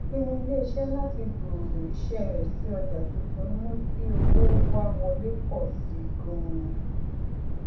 ìpinnu ilé iṣẹ láti gbooro iṣẹ rẹ sí ọjà tuntun mú kí owó wá wọlé pọ síi ganan